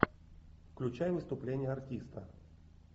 включай выступление артиста